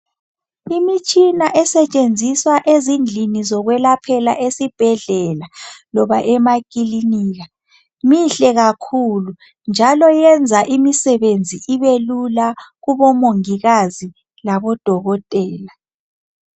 Imitshina esetshenziswa ezindlini zokwelaphela esibhedlela loba emakilinika mihle kakhulu njalo yenza imisebenzi ibelula kubomongikazi labodokotela.